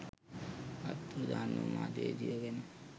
අතුරුදන් වූ මාධ්‍යවේදියෝ ගැන